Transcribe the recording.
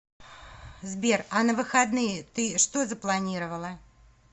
сбер а на выходные ты что запланировала